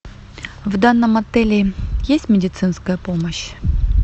в данном отеле есть медицинская помощь